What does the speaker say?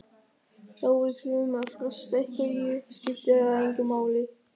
Þó við þurfum að fresta einhverju skiptir það engu máli.